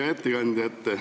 Hea ettekandja!